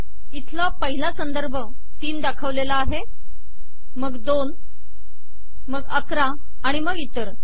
इथला पहिला संदर्भ ३ दाखवलेला आहे मग २ मग ११ आणि मग इतर